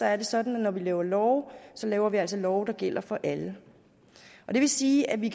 er det sådan at når vi laver love så laver vi altså love der gælder for alle det vil sige at vi